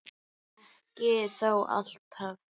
Ekki þó alltaf.